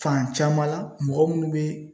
Fan caman la mɔgɔ minnu be